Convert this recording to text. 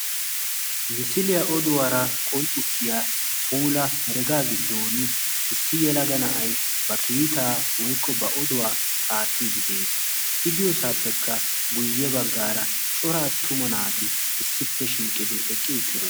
Misiliyaa oduwaara qonccissiya puula herega giddon issi yelaga na'ay ba kiitaa woykko ba oduwaa aattiidi de'ees. idiyoosaappekka guyye baggaara coraa attuma naati issippe shiiqqidi eqqi uttido.